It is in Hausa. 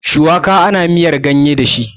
Shuwaka ana yin miyar ganye dashi kuma